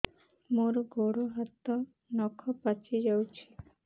ମୋର ଗୋଡ଼ ହାତ ନଖ ପାଚି ଯାଉଛି